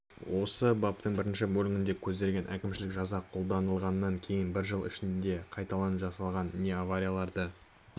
осы баптың бірінші бөлігінде көзделген әкімшілік жаза қолданылғаннан кейін бір жыл ішінде қайталап жасалған не аварияларды